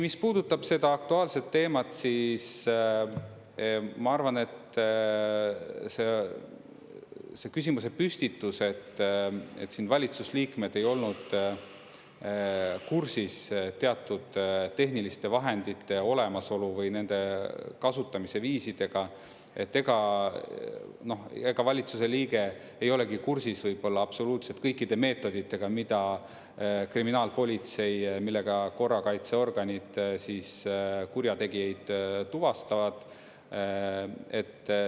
Mis puudutab seda aktuaalset teemat, siis ma arvan, et küsimuse püstitus, et valitsusliikmed ei olnud kursis teatud tehniliste vahendite olemasolu või nende kasutamise viisidega, siis ega valitsuse liige ei olegi kursis võib-olla absoluutselt kõikide meetoditega, millega kriminaalpolitsei ja korrakaitseorganid kurjategijaid tuvastavad.